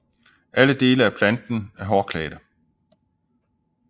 Alle dele af planten er hårklædte